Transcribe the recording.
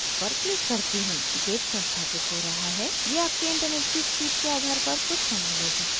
git संस्थापित हो रहा है यह आपके internet की speed के आधार पर कुछ समय ले सकता है